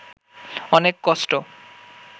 অনেক কষ্ট